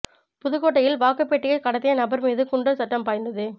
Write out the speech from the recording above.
புதுக்கோட்டையில் வாக்குப் பெட்டியை கடத்திய நபர்மீது குண்டர் சட்டம் பாய்ந்தது